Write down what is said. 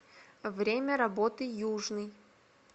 время работы южный